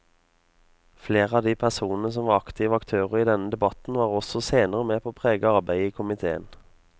Flere av de personene som var aktive aktører i denne debatten var også senere med på å prege arbeidet i komiteen.